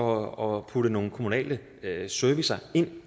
og putte nogle kommunale servicer ind